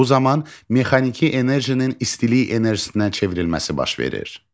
Bu zaman mexaniki enerjinin istilik enerjisinə çevrilməsi baş verir.